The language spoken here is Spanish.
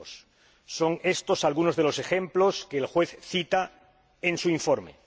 2002. Son estos algunos de los ejemplos que el juez cita en su informe.